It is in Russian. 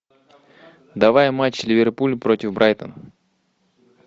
давай матч ливерпуль против брайтона